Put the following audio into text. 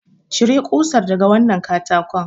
Cire kusar daga wannan katakon!